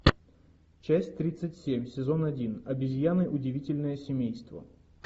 часть тридцать семь сезон один обезьяны удивительное семейство